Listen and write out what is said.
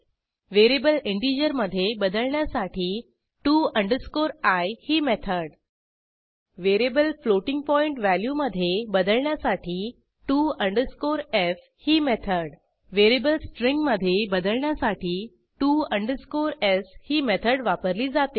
variable इंटिजरमधे बदलण्यासाठी to i ही मेथड व्हेरिएबल फ्लोटिंग पॉईंट व्हॅल्यूमधे बदलण्यासाठी to f ही मेथड व्हेरिएबल स्ट्रिंगमधे बदलण्यासाठी to s ही मेथड वापरली जाते